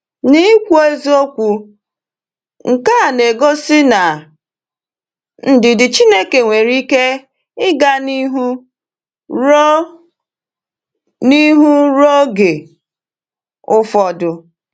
N’ikwu eziokwu, nke a na-egosi na ndidi Chineke nwere ike ịga n’ihu ruo n’ihu ruo oge ụfọdụ.